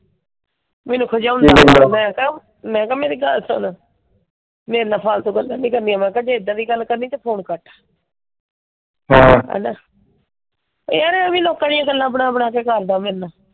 ਮੈਨੂੰ ਖਿਜਾਉਂਦਾ ਮੈਂ ਕਿਹਾ ਮੈਂ ਕਿਹਾ ਮੇਰੀ ਗੱਲ ਸੁਨ। ਮੇਰੇ ਨਾਲ ਫਾਲਤੂ ਗੱਲਾਂ ਨਹੀਂ ਕਰਨੀਆਂ। ਜੇ ਇਹਦਾ ਦੀਆਂ ਗੱਲ ਕਰਨੀ ਤਾਂ ਫੋਨ ਕੱਟ। ਯਾਰ ਐਵੇਂ ਲੋਕਾਂ ਦੀਆਂ ਗੱਲਾਂ ਬਣਾ ਬਣਾ ਕੇ ਕਰਦਾ ਮੇਰੇ ਨਾਲ।